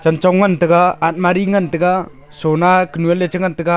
kanchong ngan taga atmari ngan taga sona kunu ley che ngan taga.